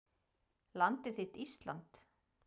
Landið þitt Ísland